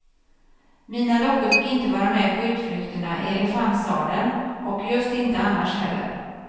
Mina dockor fick inte vara med på utflykterna i elefantsadeln och just inte annars heller.